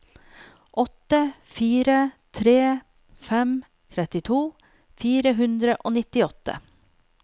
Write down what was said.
åtte fire tre fem trettito fire hundre og nittiåtte